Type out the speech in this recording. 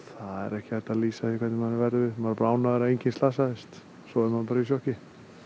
ekki hægt að lýsa því hvernig manni verður við maður er bara ánægður að enginn slasaðist svo er maður bara í sjokki